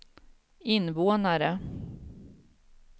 invånare